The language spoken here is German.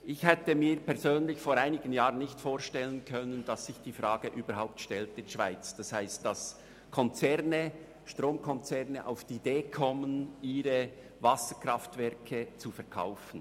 Ich hätte mir persönlich vor einigen Jahren nicht vorstellen können, dass sich die Frage in der Schweiz überhaupt stellt und Stromkonzerne auf die Idee kommen, ihre Wasserkraftwerke zu verkaufen.